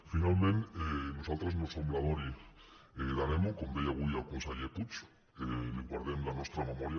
finalment nosaltres no som la dory de nemo com deia avui el conseller puig li guardem la nostra memòria